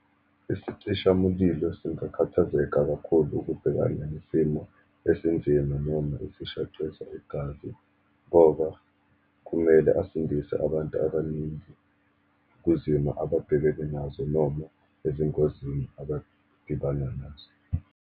Isicishamulilo singakhathazeka kakhulu ukubhekana nesimo esinzima, noma esishaqisa igazi, ngoba kumele asindise abantu abaningi kwizimo ababhekene nazo, noma ezingozini abadibana nazo.